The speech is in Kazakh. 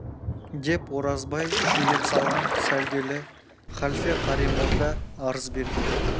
деп оразбай шүйлеп салған сәлделі халфе қари молда арыз берген